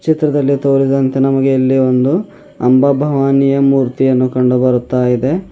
ಚಿತ್ರದಲ್ಲಿ ತೋರಿದಂತೆ ನಮಗೆ ಇಲ್ಲಿ ಒಂದು ಅಂಬಾಭವಾನಿಯ ಮೂರ್ತಿಯನ್ನು ಕಂಡು ಬರುತ್ತಾ ಇದೆ.